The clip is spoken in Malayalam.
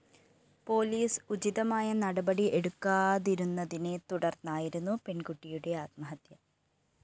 പോലീസ് ഉചിതമായ നടപടി എടുക്കാതിരുന്നതിനെ തുടര്‍ന്നായിരുന്നു പെണ്‍കുട്ടിയുടെ ആത്മഹത്യ